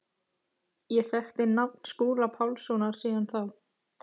Ég þekkti nafn Skúla Pálssonar síðan þá.